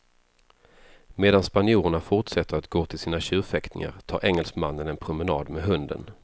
Medan spanjorerna fortsätter att gå till sina tjurfäktningar tar engelsmannen en promenad med hunden.